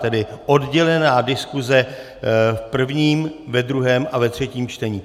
Tedy oddělená diskuse v prvním, ve druhém a ve třetím čtení.